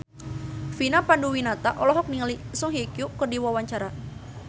Vina Panduwinata olohok ningali Song Hye Kyo keur diwawancara